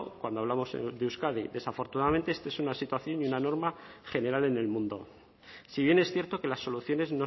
cuando hablamos de euskadi desafortunadamente esta es una situación y una norma general en el mundo si bien es cierto que las soluciones